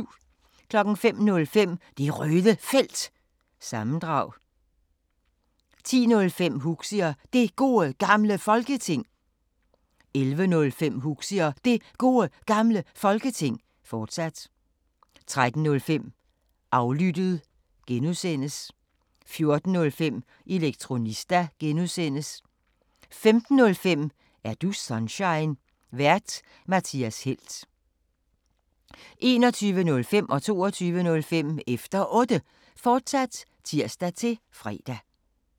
05:05: Det Røde Felt – sammendrag 10:05: Huxi og Det Gode Gamle Folketing 11:05: Huxi og Det Gode Gamle Folketing, fortsat 13:05: Aflyttet (G) 14:05: Elektronista (G) 15:05: Er du Sunshine? Vært:Mathias Helt 21:05: Efter Otte, fortsat (tir-fre) 22:05: Efter Otte, fortsat (tir-fre)